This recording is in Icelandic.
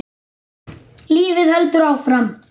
Lífið heldur áfram.